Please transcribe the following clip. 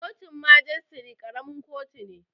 Kotun majistare ƙaramin kotu ne